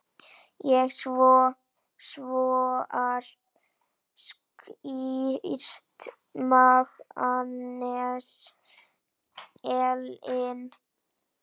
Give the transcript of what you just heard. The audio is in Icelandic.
Ég var skírð Magnea Elín.